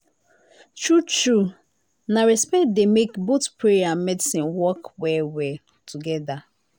true true na respect dey make both prayer and medicine work well together.